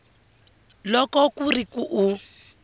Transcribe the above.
loko ku ri ku u